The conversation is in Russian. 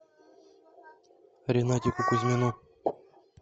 ринатику кузьмину